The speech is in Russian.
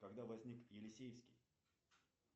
когда возник елисеевский